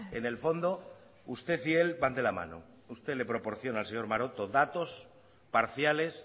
en el fondo usted y él van de la mano usted le proporciona al señor maroto datos parciales